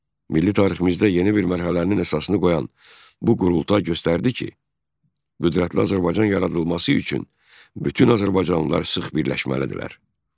Milli tariximizdə yeni bir mərhələnin əsasını qoyan bu qurultay göstərdi ki, qüdrətli Azərbaycan yaradılması üçün bütün azərbaycanlılar sıx birləşməlidirlər.